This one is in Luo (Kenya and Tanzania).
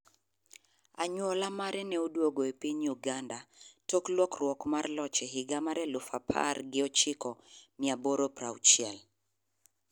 Anyuola mare ne oduogo e piny Uganda tok lokruok mar loch e higa mar elufu apar gi ochiko mia aboro piero auchiel.